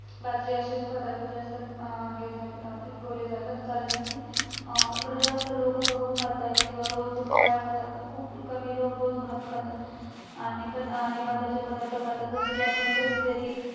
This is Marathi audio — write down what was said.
अशेच पदार्थ जास्त अं अं पिकवले जातात कारण अं इकडे जास्त लोक गहू खातात किंवा रोज पोळ्या खातात खूप कमी लोकं भात खातात आणि पण ना आणि भाताचे पदार्थ खातात जस कि आपण कधी तरी